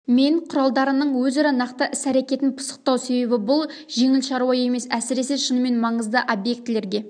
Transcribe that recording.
мен құралдарының өзара нақты іс-әрекетін пысықтау себебі бұл жеңіл шаруа емес әсіресе шынымен маңызды объектілерге